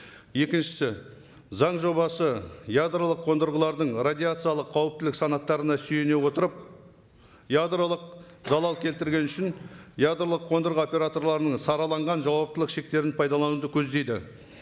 екіншісі заң жобасы ядролық қондырғылардың радиациялық қауіптілік санаттарына сүйене отырып ядролық залал келтірген үшін ядролық қондырғы операторларының сараланған жауаптылық шектерін пайдалануды көздейді